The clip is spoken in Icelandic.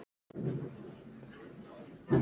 Hann kemst aldrei að því.